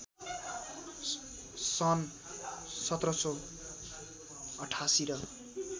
सन् १७८८ र